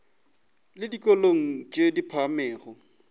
le dikolong tše di phagamego